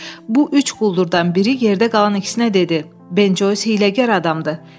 “Bu üç quldurdan biri yerdə qalan ikisinə dedi: ‘Ben Joys hiyləgər adamdır.’”